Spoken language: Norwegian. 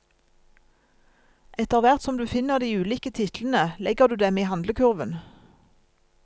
Etter hvert som du finner de ulike titlene, legger du dem i handlekurven.